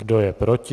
Kdo je proti?